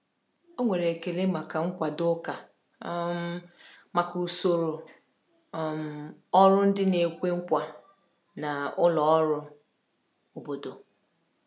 Ọ nwere ekele maka nkwado ụka um maka usoro um ọrụ ndị na-ekwe nkwa na ụlọ ọrụ um obodo.